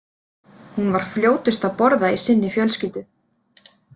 Hún var fljótust að borða í sinni fjölskyldu.